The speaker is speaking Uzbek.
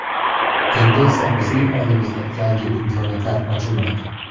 Endi esa bizning oldimizda yangi imkoniyatlar ochilmoqda.